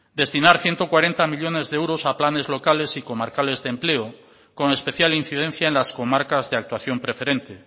destinar ciento cuarenta millónes de euros a planes locales y comarcales de empleo con especial incidencia en las comarcas de actuación preferente